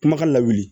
Kumakan lawuli